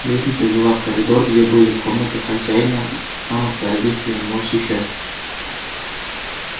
лестница вела в коридор где были комнаты хозяина и самых дорогих для него существ